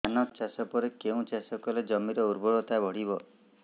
ଧାନ ଚାଷ ପରେ କେଉଁ ଚାଷ କଲେ ଜମିର ଉର୍ବରତା ବଢିବ